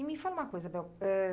E me fala uma coisa, Bel. Eh...